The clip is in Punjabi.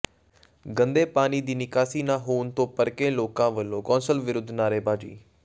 ਗੰਦੇ ਪਾਣੀ ਦੀ ਨਿਕਾਸੀ ਨਾ ਹੋਣ ਤੋਂ ਭੜਕੇ ਲੋਕਾਂ ਵੱਲੋਂ ਕੌਂਸਲ ਵਿਰੁੱਧ ਨਾਅਰੇਬਾਜ਼ੀ